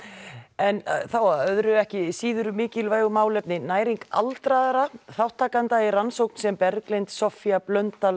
en þá að öðru ekki síður mikilvægu málefni næring aldraðra þátttakanda í rannsókn sem Berglind Soffía Blöndal